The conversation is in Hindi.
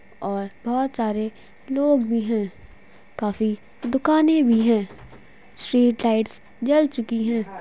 और बहुत सारे लोग भी है काफी दुकाने भी है स्ट्रीट लाइटस जल चुकी है ।